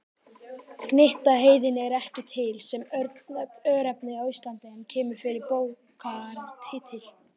Gnitaheiði er ekki til sem örnefni á Íslandi en kemur fyrir í bókartitli.